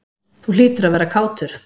Þú hlýtur að vera kátur?